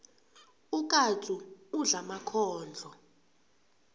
ukatsu udla emakhondlo